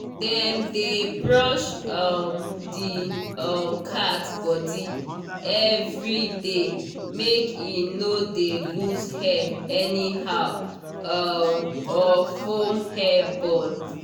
dem dey brush um the um cat body everyday make e no dey lose hair anyhow um or form hair ball